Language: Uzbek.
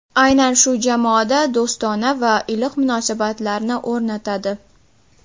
Aynan shu jamoada do‘stona va iliq munosabatlarni o‘rnatadi”.